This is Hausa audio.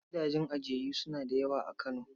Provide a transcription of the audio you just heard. Gidajen ajiyayyu suna da yawa a Kano.